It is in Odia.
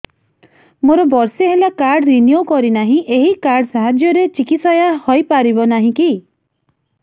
ମୋର ବର୍ଷେ ହେଲା କାର୍ଡ ରିନିଓ କରିନାହିଁ ଏହି କାର୍ଡ ସାହାଯ୍ୟରେ ଚିକିସୟା ହୈ ପାରିବନାହିଁ କି